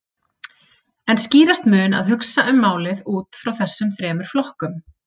En skýrast mun að hugsa um málið út frá þessum þremur flokkum.